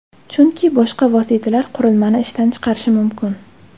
Chunki boshqa vositalar qurilmani ishdan chiqarishi mumkin.